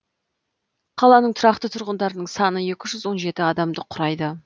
қаланың тұрақты тұрғындарының саны екі жүз он жеті адамды құрайды